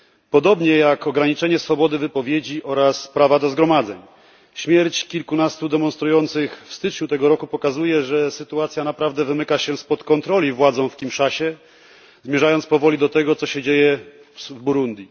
Podobnie jak ograniczenie swobody wypowiedzi oraz prawa do zgromadzeń. Śmierć kilkunastu demonstrujących w styczniu tego roku pokazuje, że sytuacja naprawdę wymyka się spod kontroli władzom w Kinszasie, zmierzając powoli do tego, co się dzieje w Burundi.